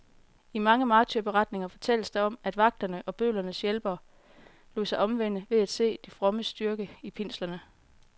I mange martyrberetninger fortælles der om, at vagterne og bødlernes hjælpere lod sig omvende ved at se de frommes styrke i pinslerne.